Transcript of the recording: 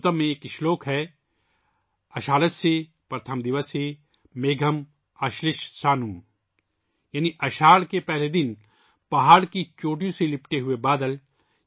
میگھ دوتم میں ایک اشلوک ہےآشاڑھیہ پرتھم دیوسے میگھم، آشی لشٹ سانم، یعنی اساڑھ کے پہلے دن پہاڑ کی چوٹیوں سے لپٹے ہوئے بادل